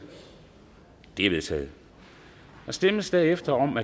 de er vedtaget der stemmes derefter om